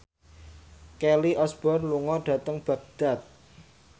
Kelly Osbourne lunga dhateng Baghdad